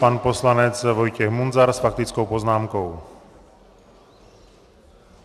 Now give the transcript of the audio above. Pan poslanec Vojtěch Munzar s faktickou poznámkou.